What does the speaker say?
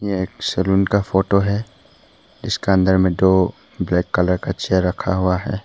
यह एक सलुन का फोटो है जिसका अंदर में दो ब्लैक कलर का चेयर रखा हुआ है।